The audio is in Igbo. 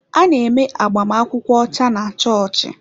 A na-eme agbamakwụkwọ ọcha na chọọchị.